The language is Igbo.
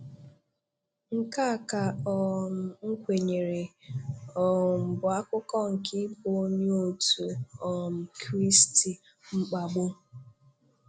Nke a ka um m kwenyere um bụ akụkụ nke ịbụ onye otu um Kristi; mkpagbu.